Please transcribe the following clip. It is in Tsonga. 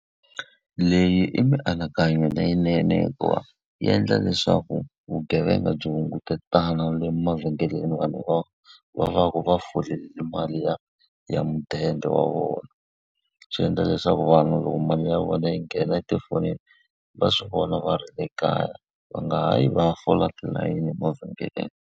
Leyi i mianakanyo leyinene hikuva yi endla leswaku vugevenga byi hungutana le mavhengeleni vanhu va va va ku va va folele mali ya ya mudende wa vona. Swi endla leswaku vanhu loko mali ya vona yi nghena etifonini, va swi vona va ri ekaya. Va nga ha yi va ya fola tilayini mavhengeleni.